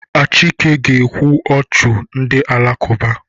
Achike ga-ekwu ọ chi ndị Alakụba.